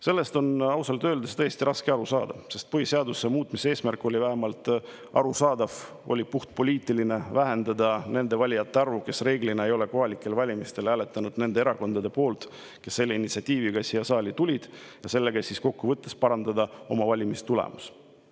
Sellest on ausalt öeldes tõesti raske aru saada, sest põhiseaduse muutmise eesmärk oli vähemalt arusaadav, see oli puhtpoliitiline: vähendada nende valijate arvu, kes reeglina ei ole kohalikel valimistel hääletanud nende erakondade poolt, kes selle initsiatiiviga siia saali tulid, ja sellega need erakonnad saavad kokkuvõttes parandada oma valimistulemust.